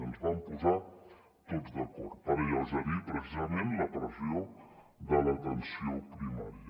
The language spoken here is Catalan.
ens vam posar tots d’acord per alleugerir precisament la pressió de l’atenció primària